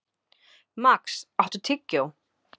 Max, áttu tyggjó?